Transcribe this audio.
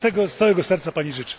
Tego z całego serca Pani życzę!